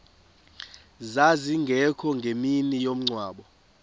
zazingekho ngemini yomngcwabo